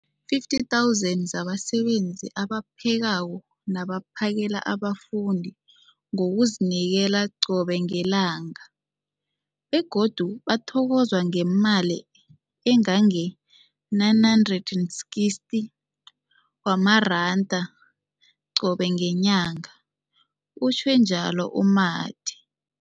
50 000 zabasebenzi abaphekako nabaphakela abafundi ngokuzinikela qobe ngelanga, begodu bathokozwa ngemali ema-960 wamaranda qobe ngenyanga, utjhwe njalo u-Mathe.